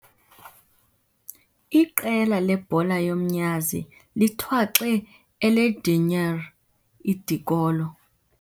Iqela lebhola yomnyazi lithwaxe elrdinyr idikolo.